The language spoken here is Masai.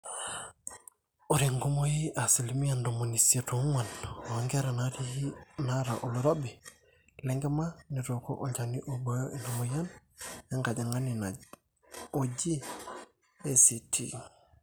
ore enkumoi asilimia ntomoni isiet oong'wan oonkera naata oloirobi lenkima netooko olchani oibooyo ina mweyian engajang'ani oji ACT